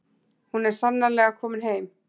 Hún er sannarlega komin heim.